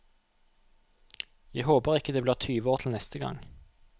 Jeg håper ikke det blir tyve år til neste gang.